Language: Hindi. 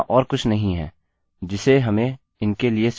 यहाँ और कुछ नहीं है जिसे हमें इनके लिए सेट करने की आवश्यकता है